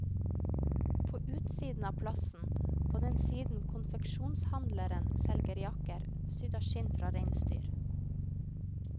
På utsiden av plassen, på den siden konfeksjonshandleren selger jakker sydd av skinn fra reinsdyr.